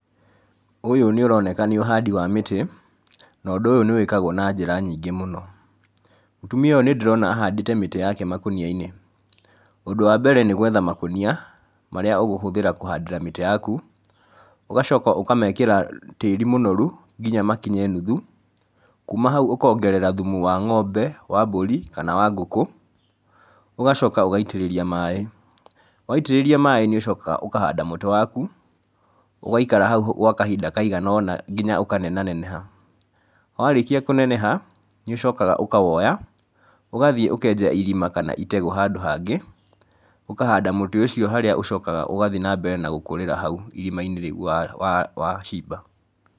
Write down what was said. Ũyũ nĩ ũroneka nĩ ũhandi wa mĩtĩ, na ũndũ ũyũ nĩ wĩkagwo na njĩra nyingĩ mũno. Mũtumia ũyũ nĩ ndĩrona ahandĩte mĩtĩ yake makũnia-inĩ. Ũndũ wa mbere nĩ gwetha makũnia, marĩa ũgũhũthĩra kũhandĩra mĩtĩ yaku, ũgacoka ũkamekĩra tĩri mũnoru nginya makinye nuthu, kuuma hau ũkongerera thumu wa ng'ombe, wa mbũri, kana wa ngũkũ. Ũgacoka ũgaitĩrĩria maĩ. Waitĩrĩria maĩ nĩ ũcokaga ũkahanda mũtĩ waku, ũgaikara hau gwa kahinda kaigana ũna nginya ũkanenaneha. Warĩkia kũneneha, nĩ ũcokaga ũkawoya, ũgathiĩ ũkenja irima kana itegũ handũ hangĩ, ũkahanda mũtĩ ũcio harĩa ũcokaga ũgathi na mbere na gũkũrĩra hau irima-inĩ rĩu wacimba.